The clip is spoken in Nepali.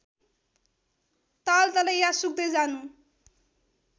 तालतलैया सुक्दै जानु